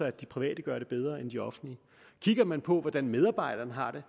at de private gør det bedre end de offentlige kigger man på hvordan medarbejderne har det